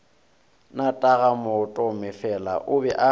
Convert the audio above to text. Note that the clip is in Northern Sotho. na tatagomatomefela o be a